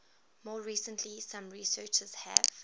more recently some researchers have